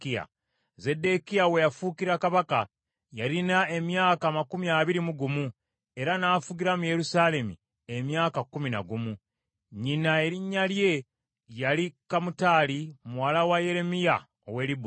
Zeddekiya we yafuukira kabaka yalina emyaka amakumi abiri mu gumu, era n’afugira mu Yerusaalemi emyaka kkumi na gumu. Nnyina erinnya lye yali Kamutali muwala wa Yeremiya ow’e Libuna.